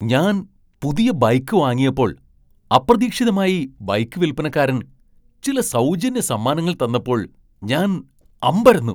ഞാൻ പുതിയ ബൈക്ക് വാങ്ങിയപ്പോൾ അപ്രതീക്ഷിതമായി ബൈക്ക് വിൽപ്പനക്കാരൻ ചില സൗജന്യ സമ്മാനങ്ങൾ തന്നപ്പോൾ ഞാൻ അമ്പരന്നു.